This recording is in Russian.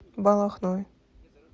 балахной